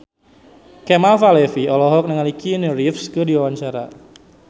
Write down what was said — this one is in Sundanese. Kemal Palevi olohok ningali Keanu Reeves keur diwawancara